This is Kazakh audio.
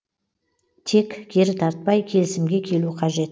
тек кері тартпай келісімге келу қажет